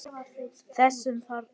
Þessum þarna!